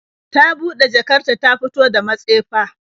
Ta bude jakar ta ta fito da matsefa